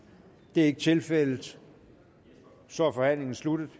det er ikke tilfældet så er forhandlingen sluttet og